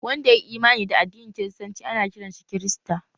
Wanda yayi Imani da addinin kiristanci ana kiran shi kirista